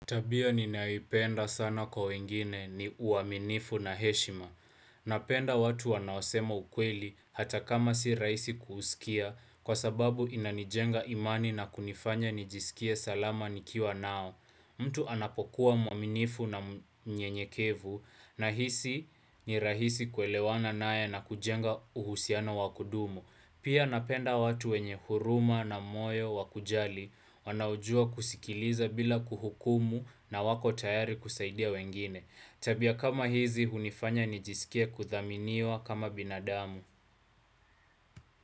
Tabia ninayoipenda sana kwa wengine ni uaminifu na heshima. Napenda watu wanaosema ukweli hata kama si rahisi kuusikia kwa sababu inanijenga imani na kunifanya nijisikie salama nikiwa nao. Mtu anapokuwa mwaminifu na mnyenyekevu nahisi ni rahisi kuelewana naye na kujenga uhusiano wa kudumu. Pia napenda watu wenye huruma na moyo wa kujali wanaojua kusikiliza bila kuhukumu na wako tayari kusaidia wengine. Tabia kama hizi hunifanya nijisikie kuthaminiwa kama binadamu.